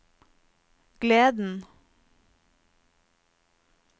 gleden